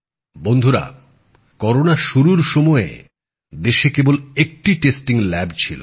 বন্ধুরা করোনা শুরুর সময়ে দেশে কেবল একটি পরীক্ষাগার ছিল